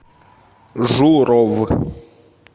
журов